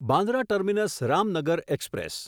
Bandra terminus Ramnagar express